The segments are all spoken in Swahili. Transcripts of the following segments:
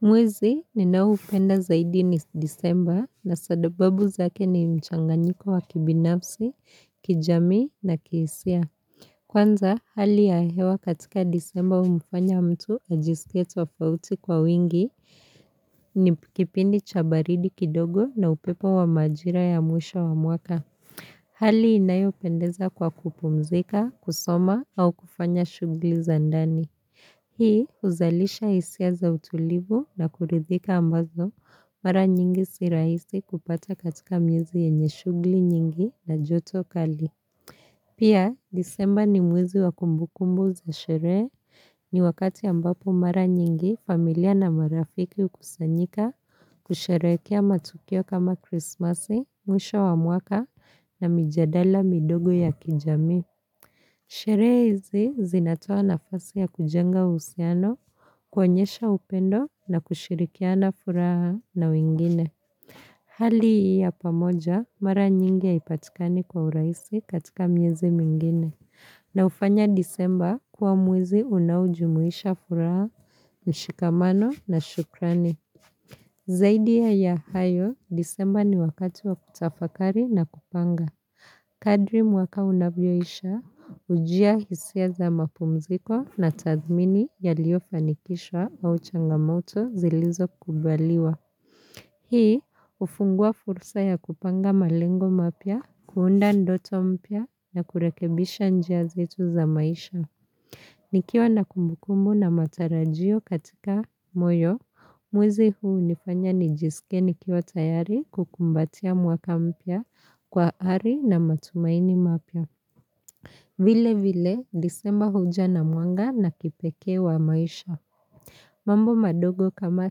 Mwezi ninaoupenda zaidi ni Disemba na sababu zake ni mchanganyiko wa kibinafsi, kijamii na kihisia. Kwanza hali ya hewa katika disemba humfanya mtu ajisikie tofauti kwa wingi ni kipindi cha baridi kidogo na upepo wa majira ya mwisho wa mwaka. Hali inayopendeza kwa kupumzika, kusoma au kufanya shughuli za ndani. Hii huzalisha hisia za utulivu na kuridhika ambazo mara nyingi si rahisi kupata katika mieezi yenye shughuli nyingi na joto kali. Pia disemba ni mwezi wa kumbu kumbu za sherehe, ni wakati ambapo mara nyingi familia na marafiki hukusanyika kusherekea matukio kama krismasi, mwisho wa mwaka na mijadala midogo ya kijamii. Sherehe hizi zinatoa nafasi ya kujenga uhusiano kuonyesha upendo na kushirikiana furaha na wengine. Hali hii ya pamoja mara nyingi haipatikani kwa urahisi katika miezi mingine. Na hufanya disemba kuwa mwezi unaojumuisha furaha, mshikamano na shukrani. Zaidi ya hayo disemba ni wakati wa kutafakari na kupanga. Kadri mwaka unavyoisha hujia hisia za mapumziko na tathmini yaliofanikishwa au changamoto zilizo kubaliwa. Hii hufungua fursa ya kupanga malengo mapya, kuunda ndoto mpya na kurekebisha njia zetu za maisha. Nikiwa na kumbukumu na matarajio katika moyo, mwezi huu unifanya nijisike nikiwa tayari kukumbatia mwaka mpya kwa ari na matumaini mapya. Vile vile disemba huja na mwanga na kipekee wa maisha. Mambo madogo kama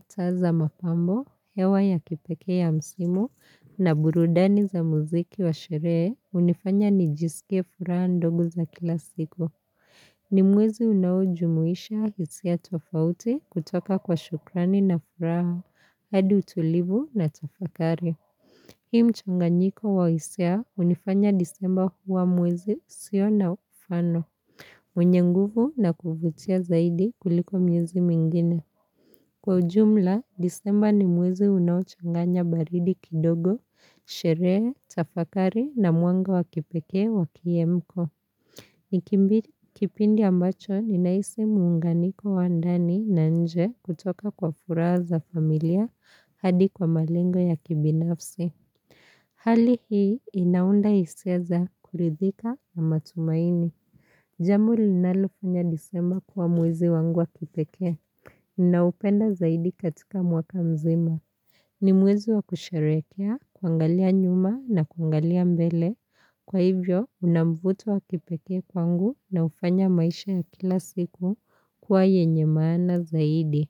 taa za mapambo, hewa ya kipekee ya msimu na burudani za muziki wa sherehe hunifanya nijisike furaha ndogo za kila siku. Ni mwezi unao jumuisha hisia tofauti kutoka kwa shukrani na furaha, hadi utulivu na tafakari. Hii mchanganyiko wa hisia hunifanya disemba huwa mwezi usio na mfano, wenye nguvu na kuvutia zaidi kuliko miezi mingine. Kwa ujumla, disemba ni mwezi unao changanya baridi kidogo, sherehe, tafakari na mwanga wa kipekee wa kiemko. Ni kipindi ambacho ninahisi muunganiko wa ndani na nje kutoka kwa furaha za familia hadi kwa malengo ya kibinafsi. Hali hii inaunda hisia za kuridhika na matumaini. Jambo linalofanya Disemba kuwa mwezi wangu wa kipekee naupenda zaidi katika mwaka mzima. Ni mwezi wa kusherehekea, kuangalia nyuma na kuangalia mbele, kwa hivyo una mvuto wa kipekee kwangu na hufanya maisha ya kila siku kuwa yenye maana zaidi.